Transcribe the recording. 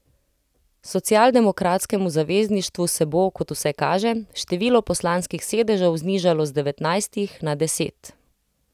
Socialdemokratskemu Zavezništvu se bo, kot vse kaže, število poslanskih sedežev znižalo z devetnajstih na desetih.